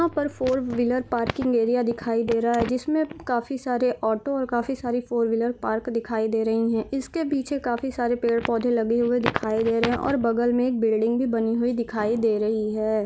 यहां पर four wheeler parking area दिखाई दे रहा है जिसमे काफी सारे ऑटो और काफी सारे फॉर व्हीलर पार्क दिखाई दे रही हैं इसके पीछे काफी सारे पेड़-पौधे लगे हुए हैं दिखाई दे रहे है और बगल मे एक बिल्डिंग भी दिखाई दे रही हैं।